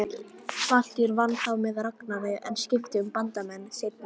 Valtýr vann þá með Ragnari, en skipti um bandamenn seinna.